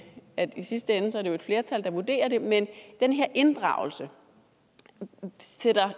at det i sidste ende jo er et flertal der vurderer det men den her inddragelse sætter